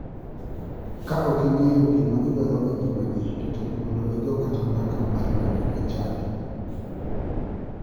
Ka ok ing'eyo gima idwaro e ngimani to tek mondo igo kata mbaka mar donjo e chadi.